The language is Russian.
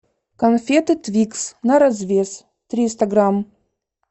конфеты твикс на развес триста грамм